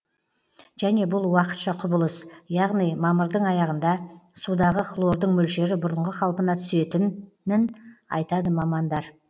және бұл уақытша құбылыс яғни мамырдың аяғында судағы хлордың мөлшері бұрынғы қалпына түсетін нін айтады мамандар